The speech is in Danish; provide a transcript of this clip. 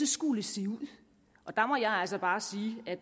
skulle se ud og der må jeg altså bare sige at